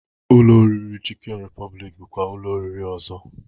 Ụlọ oriri Chịkịn Rịpọbịlịk bụkwa ụlọ oriri ọzọ